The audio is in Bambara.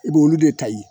I b'olu de ta ye